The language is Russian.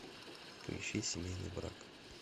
поищи семейный брак